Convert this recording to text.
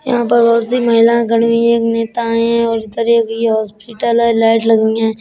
यहां पर बहोत सी महिलाएं खडी हुई हैं। एक नेता आयें है और इधर ये एक हॉस्पिटल है। लाइट लगीं हैं।